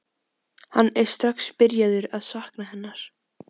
Hann er strax byrjaður að sakna hennar.